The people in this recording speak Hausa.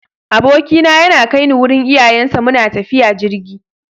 Abokina yana kai ni wurin iyayensa, muna tafiya jirgi.